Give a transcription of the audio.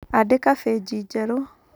Andĩka bĩnji njerũ.